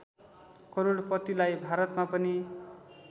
करोडपतिलाई भारतमा पनि